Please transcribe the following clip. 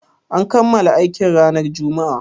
An kammala aikin ranar Juma'a?